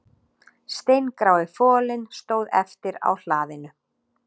Steingrái folinn stóð eftir á hlaðinu